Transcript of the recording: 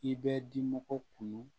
I bɛ dimɔgɔw kunun